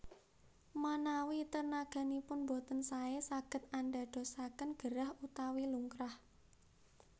Manawi tenaganipun boten saé saged andadosaken gerah utawi lungkrah